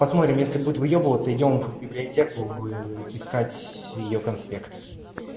посмотрим если будет выебываться идём в библиотеку искать её конспект